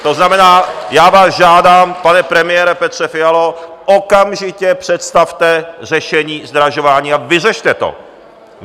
To znamená, já vás žádám, pane premiére Petře Fialo, okamžitě představte řešení zdražování a vyřešte to.